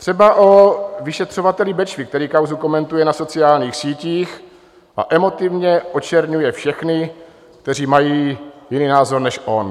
Třeba o vyšetřovateli Bečvy, který kauzu komentuje na sociálních sítích a emotivně očerňuje všechny, kteří mají jiný názor než on.